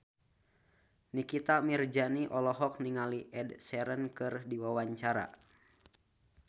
Nikita Mirzani olohok ningali Ed Sheeran keur diwawancara